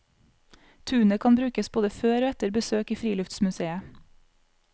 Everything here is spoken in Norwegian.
Tunet kan brukes både før og etter besøk i friluftsmuseet.